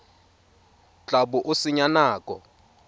tla bo o senya nako